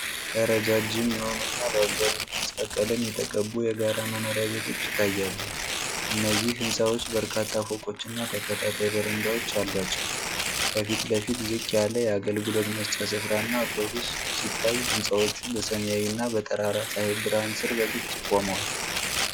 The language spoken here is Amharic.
ረጃጅም የሆኑ እና በአብዛኛው ቢጫ ቀለም የተቀቡ የጋራ መኖሪያ ቤቶች ይታያሉ። እነዚህ ሕንጻዎች በርካታ ፎቆችና ተከታታይ በረንዳዎች አሏቸው። ከፊት ለፊት ዝቅ ያለ የአገልግሎት መስጫ ስፍራ እና አውቶቡስ ሲታይ፤ ሕንፃዎቹ በሰማያዊና በጠራራ ፀሐይ ብርሃን ስር በግልጽ ቆመዋል።